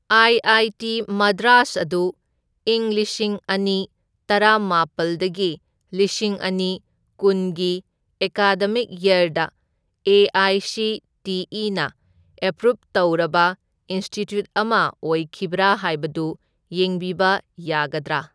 I I T Madras ꯑꯗꯨ ꯢꯪ ꯂꯤꯁꯤꯡ ꯑꯅꯤ ꯇꯔꯥꯃꯥꯄꯜꯗꯒꯤ ꯂꯤꯁꯤꯡ ꯑꯅꯤꯀꯨꯟꯒꯤ ꯑꯦꯀꯥꯗꯃꯤꯛ ꯌꯔꯗ ꯑꯦ.ꯑꯥꯏ.ꯁꯤ.ꯇꯤ.ꯏ.ꯅ ꯑꯦꯄ꯭ꯔꯨꯞ ꯇꯧꯔꯕ ꯏꯟꯁꯇꯤꯇ꯭ꯌꯨꯠ ꯑꯃ ꯑꯣꯏꯈꯤꯕ꯭ꯔꯥ ꯍꯥꯏꯕꯗꯨ ꯌꯦꯡꯕꯤꯕ ꯌꯥꯒꯗ꯭ꯔꯥ?